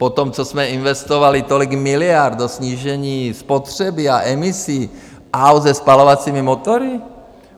Po tom, co jsme investovali tolik miliard do snížení spotřeby a emisí aut se spalovacími motory?